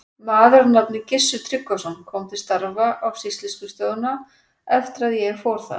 Maður að nafni Gissur Tryggvason kom til starfa á sýsluskrifstofuna eftir að ég fór þaðan.